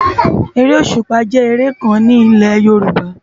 Éré ósúpá jè éré kán ni ilé Yoruba